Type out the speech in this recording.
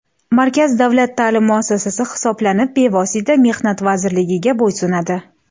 Markaz davlat ta’lim muassasasi hisoblanib, bevosita Mehnat vazirligiga bo‘ysunadi.